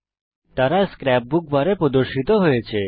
তারা scrapbook বারে প্রদর্শিত হয়েছে